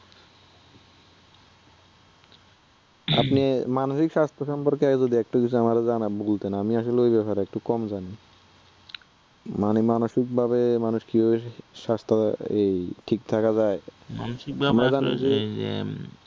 আপনি মানসিক স্বাস্থ্য সম্পর্কে যদি একটু বিষয়ে আমারে জানান, বলতেন। আমি আসলে ঐ ব্যপারে একটু কম জানি, মানে মানুষিক ভাবে মানুষ কিভাবে স্বাস্থ্য, এই ঠিক থাকা যায়?